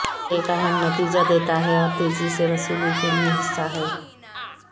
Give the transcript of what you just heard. یہ ایک اہم نتیجہ دیتا ہے اور تیزی سے وصولی کے لئے حصہ ہے